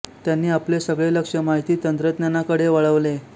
त्यांनी आपले सगळे लक्ष माहिती तंत्रज्ञाना कडे वळवले